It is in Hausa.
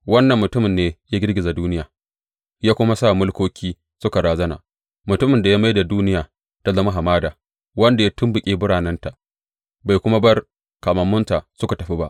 Wannan mutumin ne ya girgiza duniya ya kuma sa mulkoki suka razana, mutumin da ya mai da duniya ta zama hamada, wanda ya tumɓuke biranenta bai kuma bar kamammunsa suka tafi ba?